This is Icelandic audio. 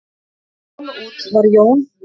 Þegar þeir komu út var Jón